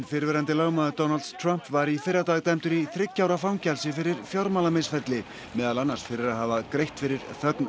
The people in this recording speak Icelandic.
fyrrverandi lögmaður Donalds Trumps var í fyrradag dæmdur í þriggja ára fangelsi fyrir fjármálamisferli meðal annars fyrir að hafa greitt fyrir þögn